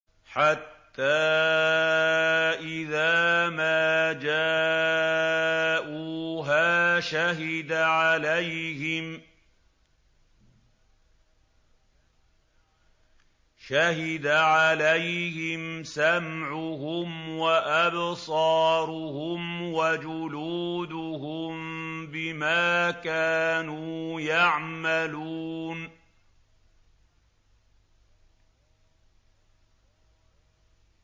حَتَّىٰ إِذَا مَا جَاءُوهَا شَهِدَ عَلَيْهِمْ سَمْعُهُمْ وَأَبْصَارُهُمْ وَجُلُودُهُم بِمَا كَانُوا يَعْمَلُونَ